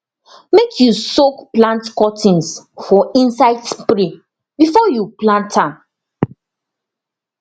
make you soak plant cuttings for insect spray before you plant am